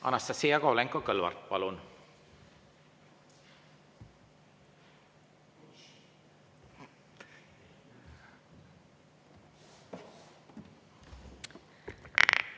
Anastassia Kovalenko-Kõlvart, palun!